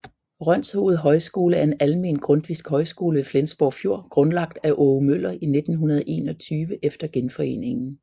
Rønshoved Højskole er en almen grundtvigsk højskole ved Flensborg Fjord grundlagt af Aage Møller i 1921 efter Genforeningen